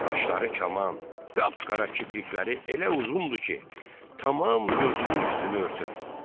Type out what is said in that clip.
Qaşları kaman, qap-qara kiprikləri elə uzundur ki, tamam gözünün üstünü örtüb.